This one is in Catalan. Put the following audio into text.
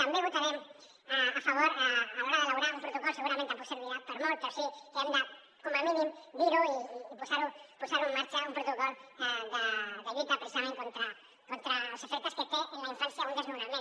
també votarem a favor a l’hora d’elaborar un protocol segurament tampoc ser·virà per a molt però sí que hem de com a mínim dir·ho i posar·ho en marxa un protocol de lluita precisament contra els efectes que té en la infància un desnona·ment